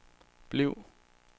bliv